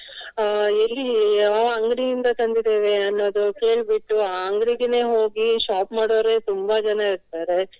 ಅಹ್ ಎಲ್ಲಿ ಯಾವ ಅಂಗಡಿಯಿಂದ ತಂದಿದ್ದೇವೆ ಅನ್ನುವುದು ಕೇಳ್ಬಿಟ್ಟು ಅಹ್ ಅಂಗಡಿಗೆನೇ ಹೋಗಿ shop ಮಾಡುವವರೇ ತುಂಬಾ ಜನ ಇರ್ತಾರೆ.